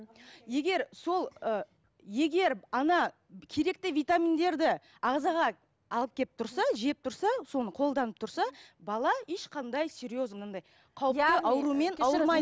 егер сол ыыы егер ана керекті витаминдерді ағзаға алып келіп тұрса жеп тұрса соны қолданып тұрса бала ешқандай серьезный анандай